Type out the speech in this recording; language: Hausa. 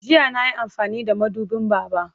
Jiya na yi amfani da mabuɗin Baba.